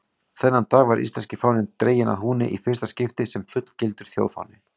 Þennan dag var íslenski fáninn dreginn að húni í fyrsta skipti sem fullgildur þjóðfáni.